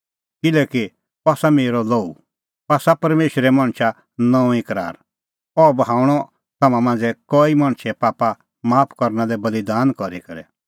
किल्हैकि अह आसा मेरअ लोहू अह आसा परमेशरे मणछा नऊंईं करार अह बहाऊंणअ तम्हां मांझ़ै कईए पाप माफ करना लै बल़ीदान करी करै